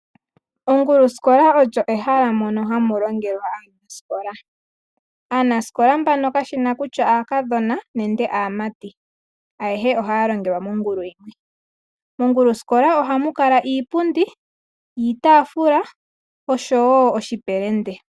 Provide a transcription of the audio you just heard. Onguluskola olyo ehala mono hamulongelwa aanasikola kayena kutya aakadhona nenge aamati ayehe ohaya longelwa mongulu yimwe. Monguluskola ohamu kala iipundi, iitaafula oshowo oshipelende.